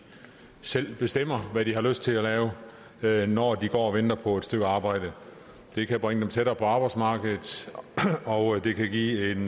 selv bestemmer hvad de har lyst til at lave når de går og venter på et stykke arbejde det kan bringe dem tættere på arbejdsmarkedet og det kan give en